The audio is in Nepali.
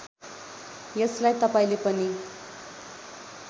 यसलाई तपाईँले पनि